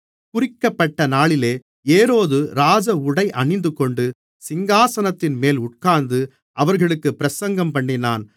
குறிக்கப்பட்டநாளிலே ஏரோது ராஜ உடை அணிந்துகொண்டு சிங்காசனத்தின்மேல் உட்கார்ந்து அவர்களுக்குப் பிரசங்கம்பண்ணினான்